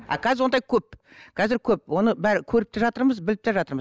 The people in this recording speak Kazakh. а қазір ондай көп қазір көп оны көріп те жатырмыз біліп те жатырмыз